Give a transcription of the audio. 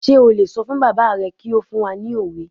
Sé o lè sọ fún bàbá rẹ kí ó fún wa ní òwe?